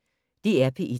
DR P1